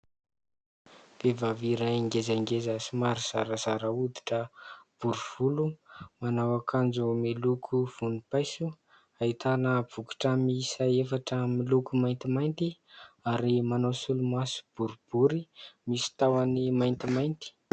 Vehivavy iray ngezangeza, somary zarazara hoditra, bory volo, manao akanjo miloko vonim-paiso ahitana bokotra miisa efatra miloko maintimainty ary manao solomaso boribory misy tahony maintimainty.